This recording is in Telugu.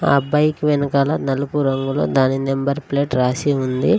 ఆ బైక్ వెనకాల నలుపు రంగులో దాని నెంబర్ ప్లేట్ రాసి ఉంది.